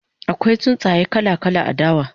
akwai tsuntsaye kala kala a dawa